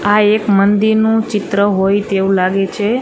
આ એક મંદિરનું ચિત્ર હોય તેવું લાગે છે.